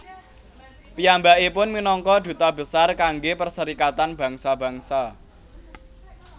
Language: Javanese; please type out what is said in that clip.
Piyambakipun minangka duta besar kanggé Perserikatan Bangsa Bangsa